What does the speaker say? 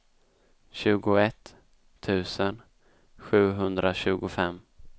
tjugoett tusen sjuhundratjugofem